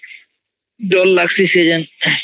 ଡର ଲାଗୁଚି ସେଇଯାଂ